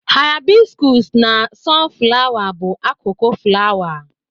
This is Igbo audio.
Hịabịskọs na sọn flawa bụ akụkụ flawa.